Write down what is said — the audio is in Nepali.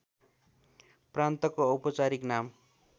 प्रान्तको औपचारिक नाम